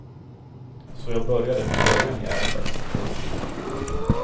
Så jag började från början i ärendet. punkt